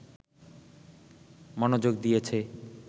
মনোযোগ দিয়েছে